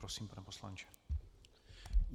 Prosím, pane poslanče.